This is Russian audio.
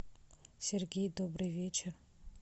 сергей добрый вечер